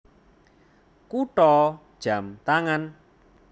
Kutha jam tangan